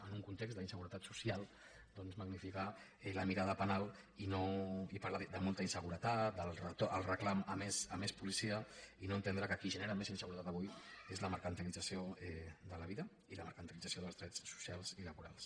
en un context d’inseguretat social doncs magnificar la mirada penal i parlar de molta inseguretat del reclam de més policia i no entendre que qui genera més inseguretat avui és la mercantilització de la vida i la mercantilització dels drets socials i laborals